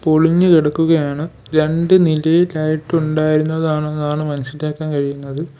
പൊളിഞ്ഞു കിടക്കുകയാണ് രണ്ട് നിലയിൽ ആയിട്ടുണ്ടായിരുന്നതാണെന്നാണ് മനസ്സിലാക്കാൻ കഴിയുന്നത്.